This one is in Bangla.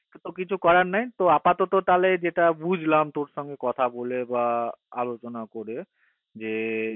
ওতো কিছু করার নাই তো আপাতত তালে যেটা বুজলাম তোর সঙ্গে কথা বলে বা আলোচনা করে যে